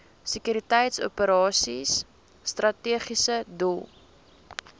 sekuriteitsoperasies strategiese doel